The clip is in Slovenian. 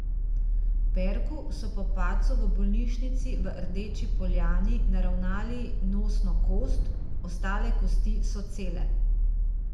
Perku so po padcu v bolnišnici v Rdeči poljani naravnali nosno kost, ostale kosti so cele.